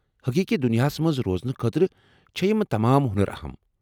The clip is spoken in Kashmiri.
حقیقی دنیاہس منز روزنہٕ خٲطرٕ چھےٚ یم تمام ہو٘نر اہم ۔